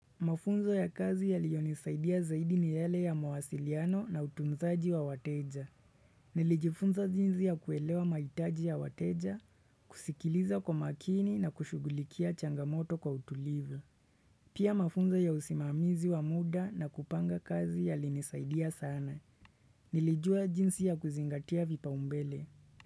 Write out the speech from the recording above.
Mafunzo ya kazi yaliyonisaidia zaidi ni yale ya mawasiliano na utunzaji wa wateja. Nilijifunza jinsi ya kuelewa mahitaji ya wateja, kusikiliza kwa makini na kushughulikia changamoto kwa utulivu. Pia mafunzo ya usimamizi wa muda na kupanga kazi yalinisaidia sana. Nilijua jinsi ya kuzingatia vipaumbele.